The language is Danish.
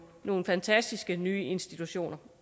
nogle fantastiske nye institutioner